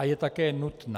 A je také nutná.